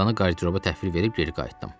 Çamadanı qarderoba təhvil verib geri qayıtdım.